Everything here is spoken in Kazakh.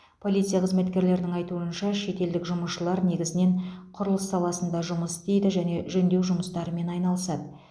полиция қызметкерлерінің айтуынша шетелдік жұмысшылар негізінен құрылыс саласында жұмыс істейді және жөндеу жұмыстарымен айналысады